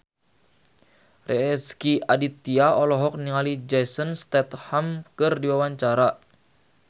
Rezky Aditya olohok ningali Jason Statham keur diwawancara